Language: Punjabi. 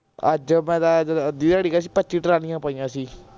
ਅੱਜ ਅੱਧੀ ਦਿਹਾੜੀ ਚ ਪੱਚੀ ਪਾਇਆ ਸੀ